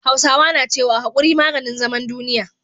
Hausawa na cewa "Hakuri maganin zaman duniya"